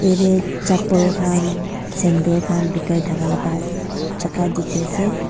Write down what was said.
yate chappal khan sandal khan bikai thaka laga jaga dikhi ase.